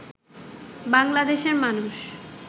বাংলাদেশের মানুষ